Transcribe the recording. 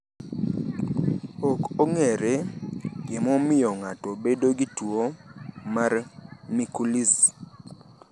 Ok ong’ere gima omiyo ng’ato bedo gi tuwo mar Mikulicz.